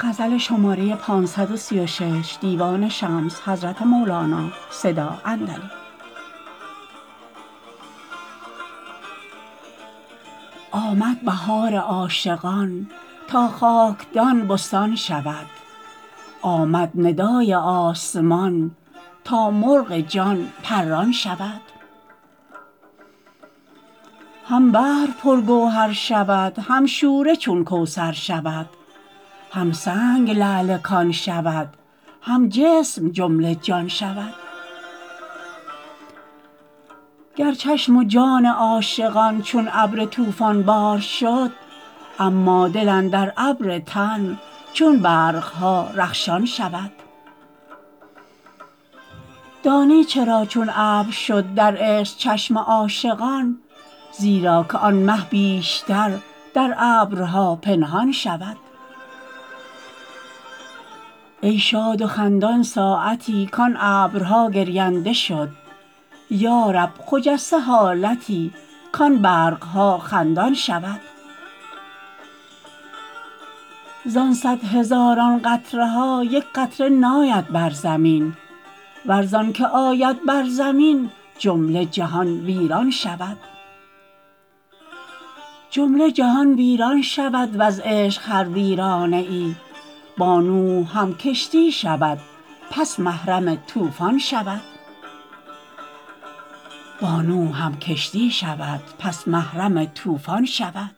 آمد بهار عاشقان تا خاکدان بستان شود آمد ندای آسمان تا مرغ جان پران شود هم بحر پرگوهر شود هم شوره چون کوثر شود هم سنگ لعل کان شود هم جسم جمله جان شود گر چشم و جان عاشقان چون ابر طوفان بار شد اما دل اندر ابر تن چون برق ها رخشان شود دانی چرا چون ابر شد در عشق چشم عاشقان زیرا که آن مه بیشتر در ابرها پنهان شود ای شاد و خندان ساعتی کان ابرها گرینده شد یا رب خجسته حالتی کان برق ها خندان شود زان صد هزاران قطره ها یک قطره ناید بر زمین ور زانک آید بر زمین جمله جهان ویران شود جمله جهان ویران شود وز عشق هر ویرانه ای با نوح هم کشتی شود پس محرم طوفان شود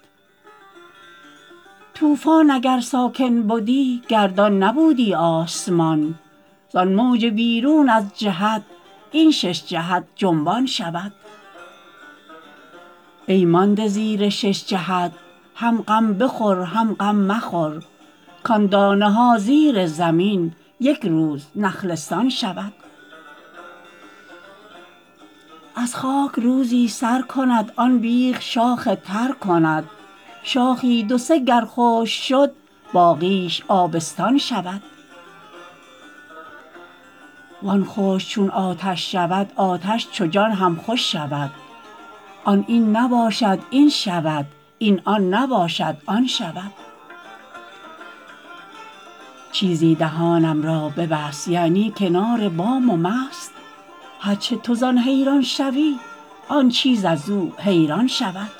طوفان اگر ساکن بدی گردان نبودی آسمان زان موج بیرون از جهت این شش جهت جنبان شود ای مانده زیر شش جهت هم غم بخور هم غم مخور کان دانه ها زیر زمین یک روز نخلستان شود از خاک روزی سر کند آن بیخ شاخ تر کند شاخی دو سه گر خشک شد باقیش آبستان شود وان خشک چون آتش شود آتش چو جان هم خوش شود آن این نباشد این شود این آن نباشد آن شود چیزی دهانم را ببست یعنی کنار بام و مست هر چه تو زان حیران شوی آن چیز از او حیران شود